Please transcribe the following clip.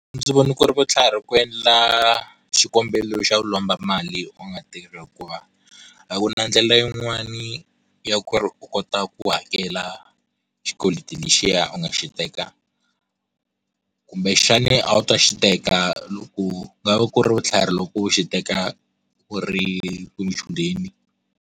A ndzi vona ku ri vutlhari ku endla xikombelo xo lomba mali u nga tirhi hikuva a ku na ndlela yin'wana ya ku ri u kota ku hakela xikweleti lexiya u nga xi teka kumbe xana a wu ta xi teka loko ku nga va ku ri vutlhari loko u xi teka u ri u ri muchudeni.